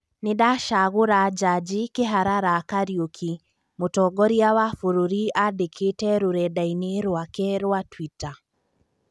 "Nindacagũra jaji kiharara Kariuki" Mutongoria wa bũrũri andĩkĩte rũrendainĩ ruake rũa Twitter